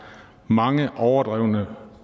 mange overdrevne